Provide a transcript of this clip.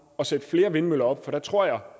at sætte flere vindmøller op for der tror jeg